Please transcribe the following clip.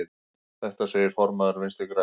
Þetta segir formaður Vinstri grænna.